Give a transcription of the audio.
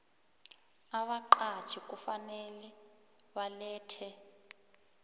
abaqatjhi kufanele balethe